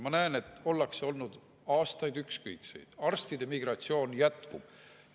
Ma näen, et aastaid on oldud ükskõiksed, arstide migratsioon jätkub.